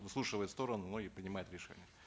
выслушивает сторону ну и принимает решение